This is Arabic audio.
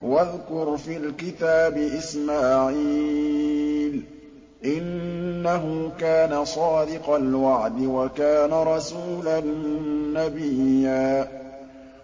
وَاذْكُرْ فِي الْكِتَابِ إِسْمَاعِيلَ ۚ إِنَّهُ كَانَ صَادِقَ الْوَعْدِ وَكَانَ رَسُولًا نَّبِيًّا